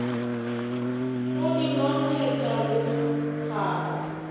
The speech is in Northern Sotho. go di nontšhetša go hlabja